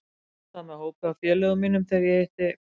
Ég var á dansstað með hópi af félögum mínum þegar ég hitti